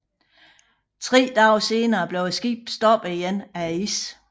Tre dage senere blev skibet stoppet igen af isen